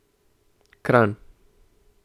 Kranj.